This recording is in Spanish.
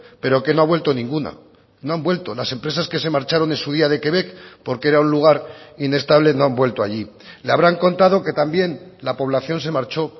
pero que no ha vuelto ninguna no han vuelto las empresas que se marcharon en su día de quebec porque era un lugar inestable no han vuelto allí le habrán contado que también la población se marchó